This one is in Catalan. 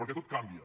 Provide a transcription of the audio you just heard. perquè tot canvia